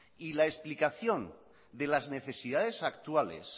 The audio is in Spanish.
y la explicación de las necesidades actuales